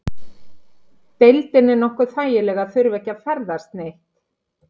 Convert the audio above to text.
Deildin er nokkuð þægileg að þurfa ekki að ferðast neitt?